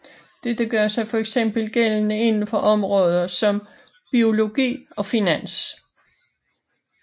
Dette gør sig fx gældende inden for områder som biologi og finans